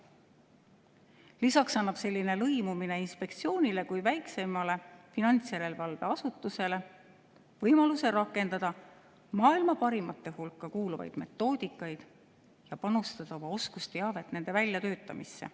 Lisaks annab lõimumine inspektsioonile kui väikseimale finantsjärelevalveasutusele võimaluse rakendada maailma parimate hulka kuuluvaid metoodikaid ning panustada oma oskusteavet nende väljatöötamisse.